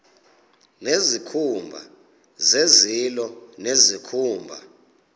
nezikhumba zezilo nezikhumba